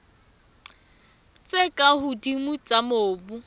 tse ka hodimo tsa mobu